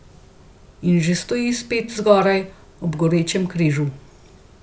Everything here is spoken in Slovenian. In že stoji spet zgoraj, ob gorečem križu.